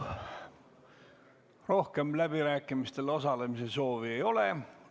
Rohkem läbirääkimistel osalemise soovi ei ole.